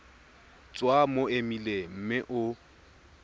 tswa mo emeileng mme o